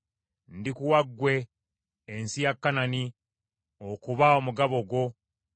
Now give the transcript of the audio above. “Ndikuwa ggwe ensi ya Kanani okuba omugabo gwo.”